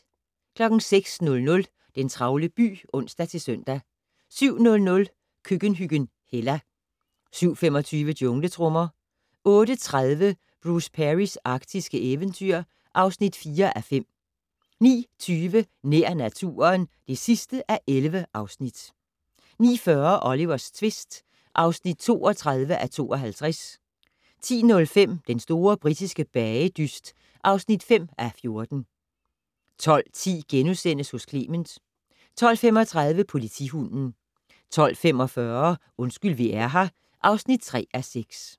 06:00: Den travle by (ons-søn) 07:00: Køkkenhyggen Hella 07:25: Jungletrommer 08:30: Bruce Perrys arktiske eventyr (4:5) 09:20: Nær naturen (11:11) 09:40: Olivers tvist (32:52) 10:05: Den store britiske bagedyst (5:14) 12:10: Hos Clement * 12:35: Politihunden 12:45: Undskyld vi er her (3:6)